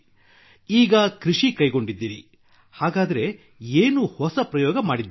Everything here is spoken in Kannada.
ಈಗ ಕೃಷಿ ಕೈಗೊಂಡಿದ್ದೀರಿ ಹಾಗಾದರೆ ಏನು ಹೊಸ ಪ್ರಯೋಗ ಮಾಡಿದ್ದೀರಿ